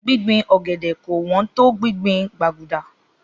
Gbíngbin ọ̀gẹ̀dẹ̀ kò wón to gbìngbin